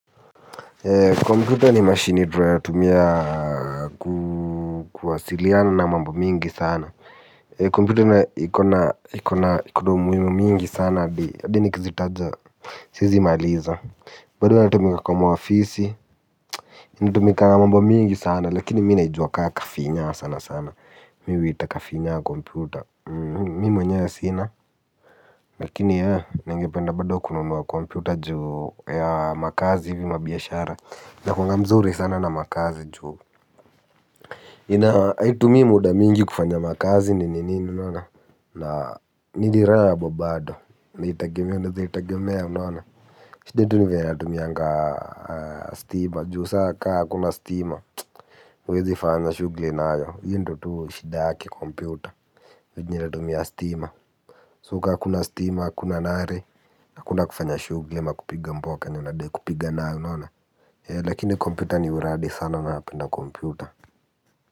Ee computer ni mashini tunayotumia kuwasiliana na mambo mingi sana ee computer na ikona iko na iko na umuhimu mingi sana hadi hadi nikizitaja siezi maliza bado inatumika kwa maofisi inatumika mambo mingi sana lakini mi naijua ka kafinyaa sana sana mi huita kafinyaa computer mimi mwenyewe sina lakini ee ningependa bado kununua computer juu ya makazi hivi mabiashara nakuanga mzuri sana na makazi juu ina haitumii muda mingi kufanya makazi ni nini unaona na niliraha bado unaezaitegemea unaezaitegemea unaona shida tu ni vile inatumianga stima juu saa kaa hakuna stima huwezi fanya shughuli nayo iyo ndio tu shida yake kompyuta yenye inatumia stima so ka hakuna stima hakuna nare hakuna kufanya shughuli ama kupiga mboka yenye unadai kupiga nayo unaona lakini kompyuta ni uradi sana napenda kompyuta.